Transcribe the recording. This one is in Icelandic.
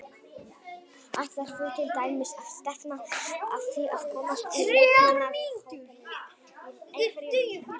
Ætlar þú til dæmis að stefna að því að komast í leikmannahópinn í einhverjum deildarleik?